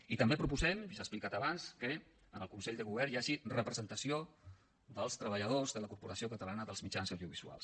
i també proposem i s’ha explicat abans que en el consell de govern hi hagi representació dels treballadors de la corporació catalana de mitjans audiovisuals